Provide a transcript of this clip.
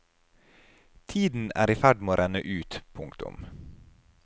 Tiden er i ferd med å renne ut. punktum